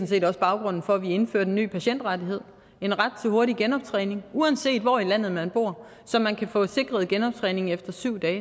set også baggrunden for at vi indfører den ny patientrettighed en ret til hurtig genoptræning uanset hvor i landet man bor så man kan få sikret genoptræning efter syv dage